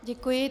Děkuji.